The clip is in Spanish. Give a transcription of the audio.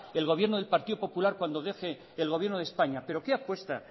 el gobierno del partido popular cuando deje el gobierno de españa pero qué apuesta